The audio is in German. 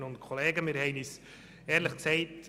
Wir kommen zu den Fraktionssprechern.